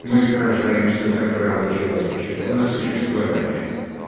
мы сражаемся за права человечество на существование